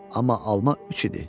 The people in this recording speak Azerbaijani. Amma alma üç idi.